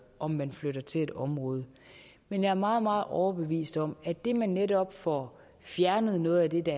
om man flytter til et område men jeg er meget meget overbevist om at det at man netop får fjernet noget af det